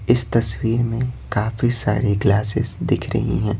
इस तस्वीर में काफी सारी ग्लासेस दिख रही हैं।